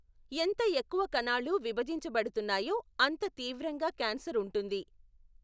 ఎంత ఎక్కువ కణాలు విభజింపబడుతున్నాయో, అంత తీవ్రంగా క్యాన్సర్ ఉంటుంది.